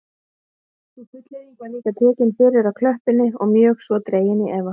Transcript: Sú fullyrðing var líka tekin fyrir á klöppinni og mjög svo dregin í efa